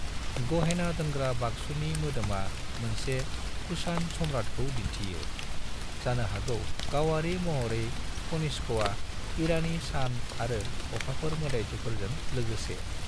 गहेना दोनग्रा बाक्सुनि मोदोमा मोनसे कुषाण सम्राटखौ दिन्थियो, जानो हागौ गावारि महरै कनिष्कआ, ईरानी सान आरो अखाफोर मोदाइफोरजों लोगोसे।